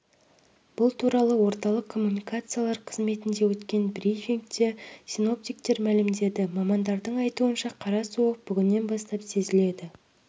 бұл туралы орталық коммуникациялар қызметінде өткен брифингте синоптиктер мәлімдеді мамандардың айтуынша қара суық бүгіннен бастап сезіледі